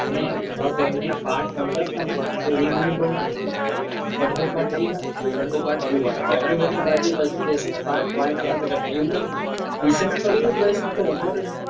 mam ઊભા કરીને પાઠ વંચાવતા ને તો એ મને બહુ ગમતી અડધો પાઠ એ વાંચતી અડધો પાઠ હું વાંચતો. અમે બંને બાજુ બાજુમાં બેસીને પાઠ વાંચ્યા જ કરતા એમનેમ બી recess પડી હોય ને તોભી અમને